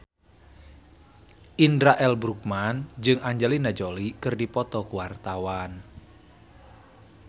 Indra L. Bruggman jeung Angelina Jolie keur dipoto ku wartawan